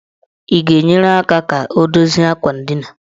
Ị ga-enyere aka ka o dozie akwa ndina?